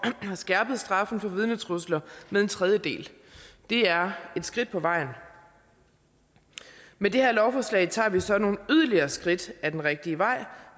har skærpet straffen for vidnetrusler med en tredjedel det er et skridt på vejen med det her lovforslag tager vi så nogle yderligere skridt ad den rigtige vej